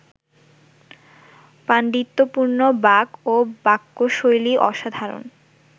পাণ্ডিত্যপূর্ণ বাক ও বাক্যশৈলী অসাধারণ